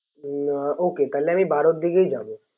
না তাহলে আমি বারোর দিকেই যাবো